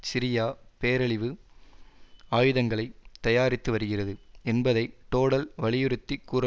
Syria பேரழிவு ஆயுதங்களை தயாரித்து வருகிறது என்பதை டோடல் வலியுறுத்தி கூற